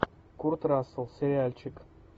курт рассел сериальчик